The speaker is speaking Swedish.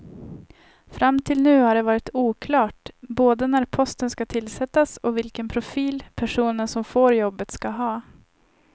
Fram till nu har det varit oklart både när posten ska tillsättas och vilken profil personen som får jobbet ska ha.